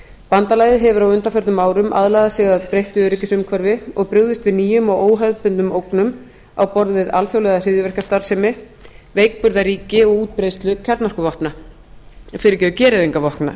bandalagið hefur á undanförnum árum aðlagað sig að breyttu öryggisumhverfi og brugðist við nýjum og óhefðbundnum ógnum á borð við alþjóðlega hryðjuverkastarfsemi veikburða ríki og útbreiðslu gereyðingarvopna